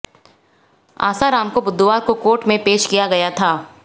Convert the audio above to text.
आसाराम को बुधवर को कोर्ट में पेश किया गया था